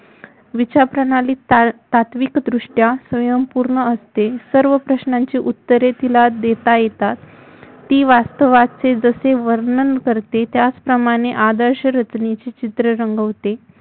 विचारप्रणाली तात्विकदृष्टया स्वयंपूर्ण असते सर्व प्रश्नांची उत्तरे तिला देता येतात ती वास्तवाचे जसे वर्णन करते त्याचप्रमाणे आदर्श रचण्याचे चित्र रंगवते